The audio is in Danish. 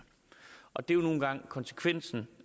og det er jo nogle gange konsekvensen